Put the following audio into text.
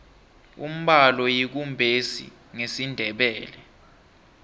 umbalo yikumbesi ngesindebele